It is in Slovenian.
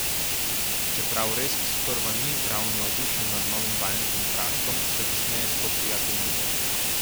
Čeprav Resk sprva ni ravno navdušen nad novim vajencem Praškom, se kasneje spoprijateljita.